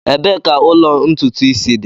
Ebee ka ụlọ ntutu isi dị?